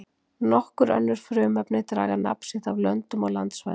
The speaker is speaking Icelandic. Nokkur önnur frumefni draga nafn sitt af löndum og landsvæðum.